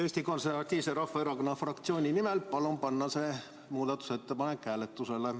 Eesti Konservatiivse Rahvaerakonna fraktsiooni nimel palun panna see muudatusettepanek hääletusele.